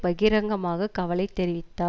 பகிரங்கமாக கவலை தெரிவித்தார்